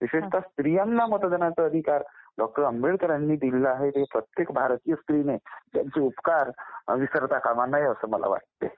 विशेषतः स्त्रियांना मतदानाचा अधिकार डॉ. आंबेडकरांनी दिलेला आहे प्रत्येक भारतीय स्त्री ने त्यांचे उपकार विसरता कामा नये असं मला वाटतंय